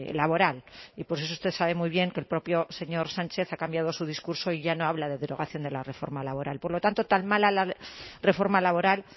laboral y por eso usted sabe muy bien que el propio señor sánchez ha cambiado su discurso y ya no habla de derogación de la reforma laboral por lo tanto tan mala la reforma laboral